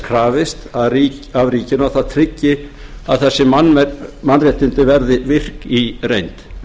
krafist af ríkinu að það tryggi að þessi mannréttindi verði virk í reynd